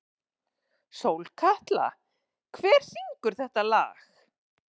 Sólkatla, hver syngur þetta lag?